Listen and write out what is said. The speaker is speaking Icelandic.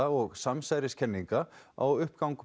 og samsæriskenninga á uppgang